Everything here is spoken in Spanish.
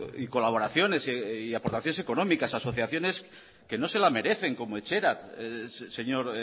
y colaboraciones y aportaciones económicas a asociaciones que no se la merecen como etxerat señor